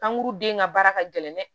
Kanguru den ka baara ka gɛlɛn dɛ